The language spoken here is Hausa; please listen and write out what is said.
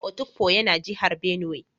Otukpo yana jihar benue